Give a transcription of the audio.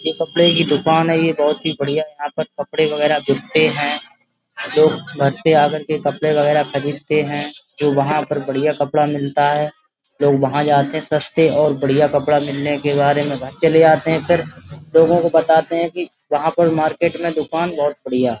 ये कपड़े की दुकान है ये बहोत ही बढिया यहाँ कपड़े वगेरा बिकते हैं। लोग घर से आकर के कपड़े वगेरा खरीदते हैं जो वहाँ पर बढियां कपड़ा मिलता है लोग वहाँ जाते सस्ते और बढियां कपड़ा मिलने के बाद में घर चले आते फिर लोगों को बताते हैं कि यहाँ पर मार्केट में वो दुकान बहोत बढिया --